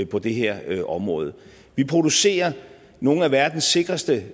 på det her område vi producerer nogle af verdens sikreste